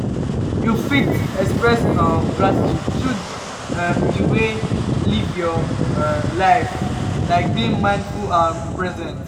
you fit express um gratitude through um di way live your um life like being mindful and present.